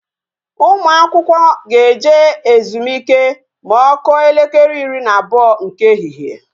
Ụmụ akwụkwọ ga-eje ezumike ma ọ kụọ elekere ịrị na abụọ nke ehihie